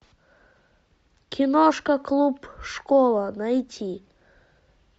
киношка клуб школа найти